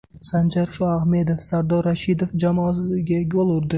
Sanjar Shoahmedov Sardor Rashidov jamoasiga gol urdi.